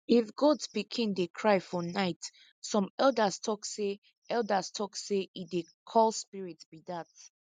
if goat pikin dey cry for night some elders tok say elders tok say e dey call spirits be dat